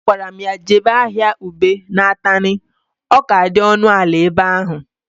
A gwara m ya jebe ahịa ube na Atani, ọ ka dị ọnụ ala ebe ahụ